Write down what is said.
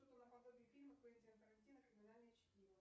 фильма квентина тарантино криминальное чтиво